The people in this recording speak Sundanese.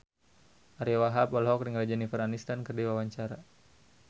Ariyo Wahab olohok ningali Jennifer Aniston keur diwawancara